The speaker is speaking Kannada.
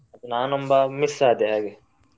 ನಾನೊಬ್ಬ miss ಆದೇ ಹಾಗೆ.